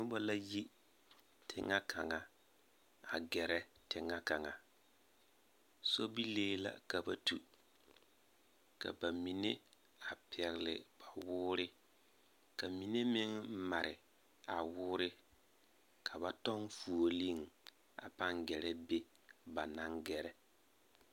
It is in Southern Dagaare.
Noba la yi teŋɛ kaŋa a gɛrɛ teŋɛ kaŋa sobilii la ka ba tu ka ba mine a pɛgle kpawoore ka mine meŋ mare a woore ka ba tɔŋ foolii a gɛrɛ be ba naŋ gɛrɛ.